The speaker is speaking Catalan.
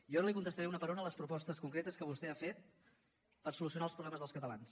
jo ara li contestaré una per una les propostes concretes que vostè ha fet per solucionar els problemes dels catalans